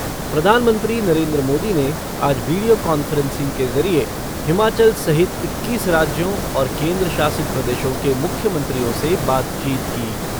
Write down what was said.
प्रधानमंत्री नरेंद्र मोदी ने आज वीडियो कांफ़्रेन्सिंग के ज़रिए हिमाचल सहित इक्कीस राज्यों और केंद्र शासित प्रदेशों के मुख्यमंत्रियों से बातचीत की।